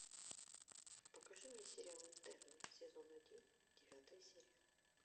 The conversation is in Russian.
покажи мне сериал интерны сезон один девятая серия